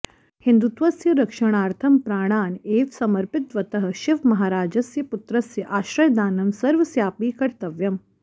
हिन्दुत्वस्य रक्षणार्थं प्राणान् एव समर्पितवतः शिवमहाराजस्य पुत्रस्य आश्रयदानं सर्वस्यापि कर्तव्यम्